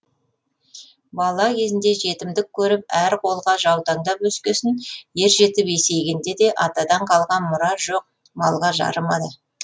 бала кезінде жетімдік көріп әр қолға жаутаңдап өскесін ер жетіп есейгенде де атадан қалған мұра жоқ малға жарымады